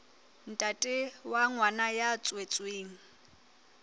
ntate wa ngwana ya tswetsweng